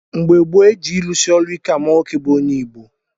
Mgbe gboo, e ji ịrụsị ọrụ ike ama nwoke bụ onye Igbo.